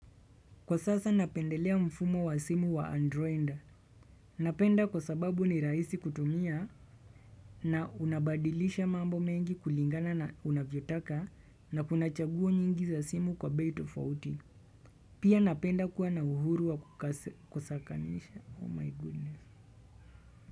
Kwa sasa napendelea mfumo wa simu wa androind. Napenda kwa sababu ni rahisi kutumia na unabadilisha mambo mengi kulingana na unavyotaka na kunachagua nyingi za simu kwa bei tofauti. Pia napenda kuwa na uhuru wa kusakanisha.